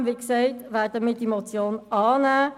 Trotzdem werden wir, wie gesagt, die Motion annehmen.